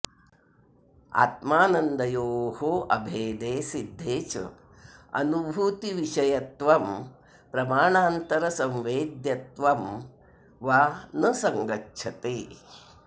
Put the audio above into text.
आत्मानन्दयोः अभेदे सिद्धे च अनुभूतिविषयत्वं प्रमाणान्तरसंवेद्यत्वं वा न सङ्गच्छते